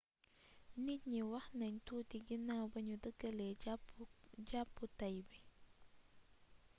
njiit yi wax nañ tuuti ginaw bi ñu dëgalee jàppu tay bi